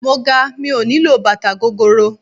Mo ga mi ò nílò bàtà gogoro.